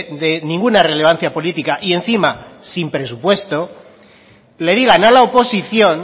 de ninguna relevancia política y encima sin presupuesto le digan a la oposición